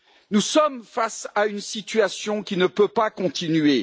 Nous sommes face à une situation qui ne peut pas continuer.